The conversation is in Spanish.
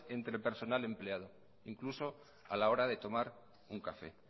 entre personal y empleado incluso a la hora de tomar un café